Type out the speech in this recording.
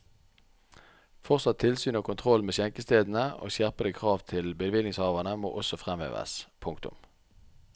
Fortsatt tilsyn og kontroll med skjenkestedene og skjerpede krav til bevillingshaverne må også fremheves. punktum